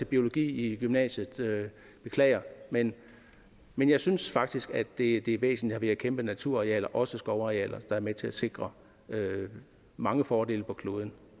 biologi i gymnasiet beklager men men jeg synes faktisk at det er væsentligt at vi har kæmpe naturarealer også skovarealer der er med til at sikre mange fordele for kloden